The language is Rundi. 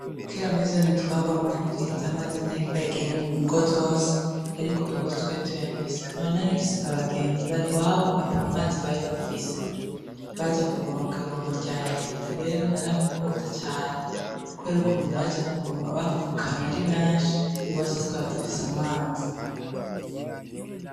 Kera muri zone twabamwo ya bwiza ntiyari bwagere mungo zose ariko iwacu twari tuyafise nkabanarimfise abagenzi iwabo atamazi bari bafise bazakuvoma kwibombo rya reta rero narabikunda cane kubera ukuntu baza kuvoma bavukana ari benshi iwacu tukaba dufise amazi